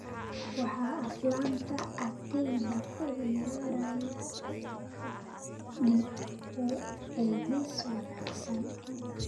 waxa aflaanta agteyda ku ciyaaraya dib u eegis wanaagsan